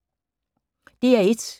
DR1